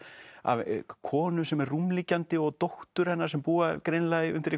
af konu sem er rúmliggjandi og dóttur hennar sem búa greinilega undir